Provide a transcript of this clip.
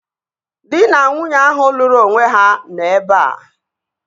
Dị na nwunye ahụ lụrụ onwe ha nọ ebea